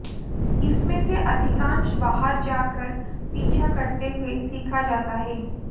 इसमें से अधिकांश बाहर जाकर पीछा करते हुए सीखा जाता है